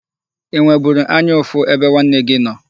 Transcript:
Ị nweburu anya ụfụ ebe nwanne gị nọ?